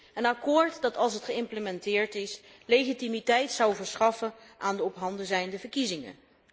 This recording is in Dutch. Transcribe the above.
Een akkoord dat, als het geïmplementeerd is, legitimiteit zou verschaffen aan de ophanden zijnde verkiezingen.